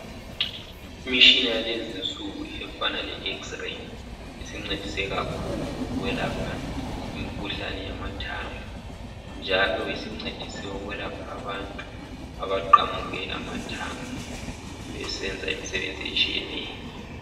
Imitshina yalezinsuku efana le x-ray isincedise kakhulu ukwelapha imikhuhlane yamathambo njalo isincedise ukwelapha abantu abaqamuke amathambo besenza imisebenzi etshiyeneyo.